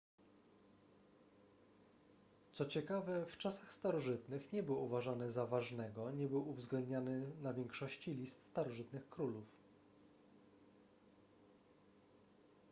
co ciekawe w czasach starożytnych nie był uważany za ważnego nie był uwzględniany na większości list starożytnych królów